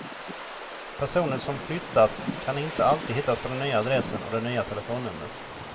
Personer som flyttat kan inte alltid hittas på den nya adressen och det nya telefonnumret.